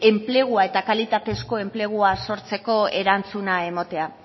enplegua eta kalitatezko enplegua sortzeko erantzuna ematea